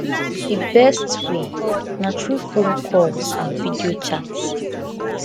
di best way na through phone calls and video chats